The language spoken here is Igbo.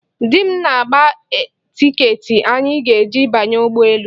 Di m na-agba tiiketị anyị ga-eji banye ụgbọ elu.